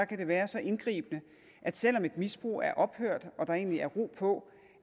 kan være så indgribende at selv om et misbrug er ophørt og der egentlig er ro på